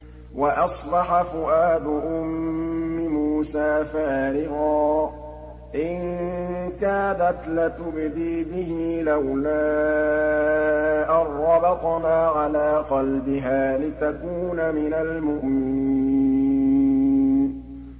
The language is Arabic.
وَأَصْبَحَ فُؤَادُ أُمِّ مُوسَىٰ فَارِغًا ۖ إِن كَادَتْ لَتُبْدِي بِهِ لَوْلَا أَن رَّبَطْنَا عَلَىٰ قَلْبِهَا لِتَكُونَ مِنَ الْمُؤْمِنِينَ